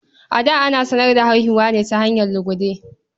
A da, ana sanar da haihuwa ne ta hanyar lugude.